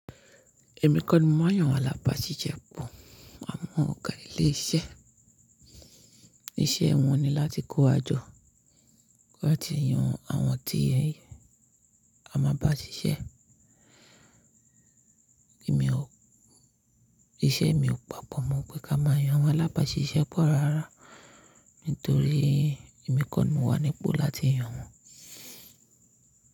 Èmi kò ni mọ ma n yan àwọn alábàásisẹ́ pọ̀. A mọ ọ̀gá ilé iṣẹ́, iṣẹ́ wọn ni láti kó wajọ láti yan àwọn tí a máa bá ṣiṣẹ́. Ìṣe mi ò pàpọ̀ mọ́ pé ká máa yan àwọn alábàásisẹ́ pọ̀ rárá torí èmi kọ̀ ni mo wá nípo láti yan wọn.